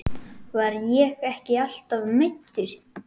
Var ég ekki alltaf meiddur?